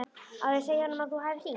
Á ég að segja honum að þú hafir hringt?